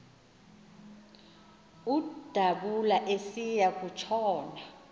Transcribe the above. udabula esiya kutshona